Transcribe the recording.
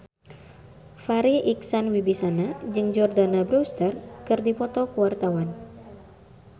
Farri Icksan Wibisana jeung Jordana Brewster keur dipoto ku wartawan